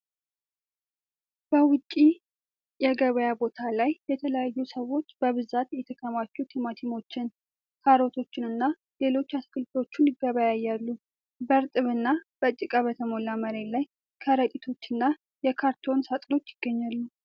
በውጪ የገበያ ቦታ ላይ የተለያዩ ሰዎች በብዛት የተከማቹ ቲማቲሞችን፣ ካሮቶችንና ሌሎች አትክልቶችን ይገበያያሉ። በእርጥብና በጭቃ በተሞላ መሬት ላይ ከረጢቶችና የካርቶን ሳጥኖች ይገኛሉ።